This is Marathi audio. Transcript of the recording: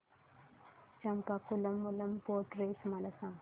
चंपाकुलम मूलम बोट रेस मला सांग